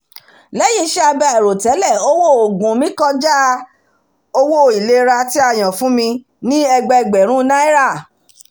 lẹ́yìn iṣẹ́ abẹ àìròtẹ́lẹ̀ owó oògùn mi kọjá owó ìlera tí a yàn fún mi ní ẹgbẹẹgbẹ̀rún naira